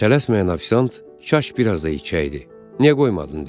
Tələsməyən ofisiant kaş biraz da içəydi, niyə qoymadın dedi.